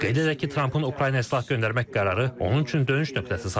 Qeyd edək ki, Trampın Ukraynaya silah göndərmək qərarı onun üçün dönüş nöqtəsi sayılır.